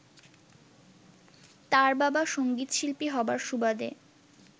তাঁর বাবা সঙ্গীতশিল্পী হবার সুবাদে